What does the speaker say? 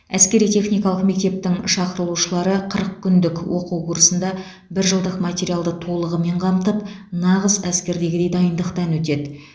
әскери техникалық мектептің шақырылушылары қырық күндік оқу курсында бір жылдық материалды толығымен қамтып нағыз әскердегідей дайындықтан өтеді